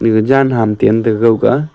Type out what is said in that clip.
ge jan ham tiam tegawga.